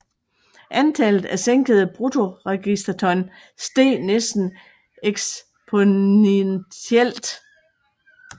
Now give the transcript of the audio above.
Antallet af sænkede bruttoregisterton steg næsten eksponentielt